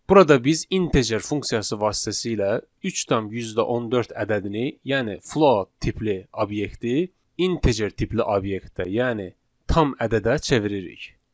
Burada biz integer funksiyası vasitəsilə 3,14 ədədini, yəni float tipli obyekti integer tipli obyektə, yəni tam ədədə çeviririk.